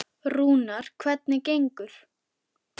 Rúnar, hvernig gengur?